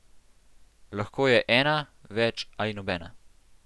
Lahko je ena, več ali nobena.